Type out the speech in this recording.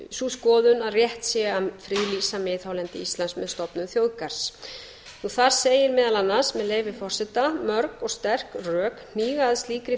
sú skoðun að rétt sé að friða miðhálendi íslands með stofnun þjóðgarðs þar segir meðal annars með leyfi forseta mörg og sterk rök hníga að slíkri